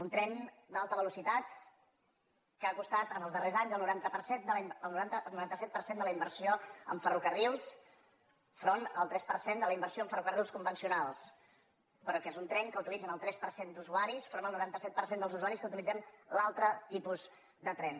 un tren d’altra velocitat que ha costat en els darrers anys el noranta set per cent de la inversió en ferrocarrils enfront del tres per cent de la inversió en ferrocarrils convencionals però que és un tren que utilitzen el tres per cent d’usuaris enfront del noranta set per cent dels usuaris que utilitzem l’altre tipus de tren